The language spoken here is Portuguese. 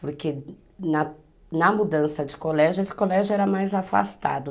Porque na na mudança de colégio, esse colégio era mais afastado.